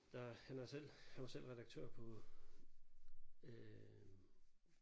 Der han er selv han var selv redaktør på øh